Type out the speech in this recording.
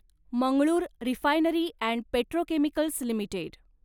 Mangalore refinery and petrochemicals limited